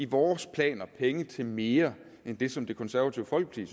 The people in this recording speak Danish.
vores planer penge til mere end det som det konservative folkeparti